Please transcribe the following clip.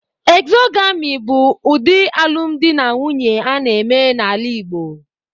Exogamy bụ ụdị alụmdi na nwunye a na-eme n'ala Igbo